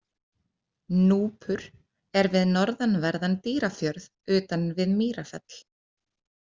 Núpur er við norðanverðan Dýrafjörð, utan við Mýrafell.